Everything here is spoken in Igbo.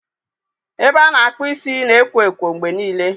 Ebe a na-akpụ isi na ekwo ekwo mgbe niile.